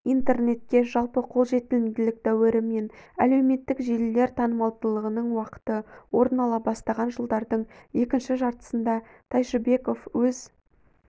интернетке жалпы қолжетімділік дәуірі мен әлеуметтік желілер танымалдылығының уақыты орын ала бастаған жылдардың екінші жартысында тайшыбеков өз